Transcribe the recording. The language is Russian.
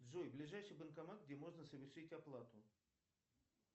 джой ближайший банкомат где можно совершить оплату